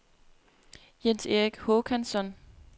Jens-Erik Håkansson